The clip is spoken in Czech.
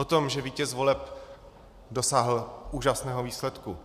O tom, že vítěz voleb dosáhl úžasného výsledku.